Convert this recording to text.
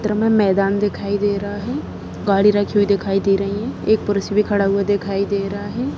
चित्र में मैदान दिखाई दे रहा है गाड़ी रखी हुई दिखाई दे रही है एक पुरुष भी खड़ा हुआ दिखाई दे रहा है।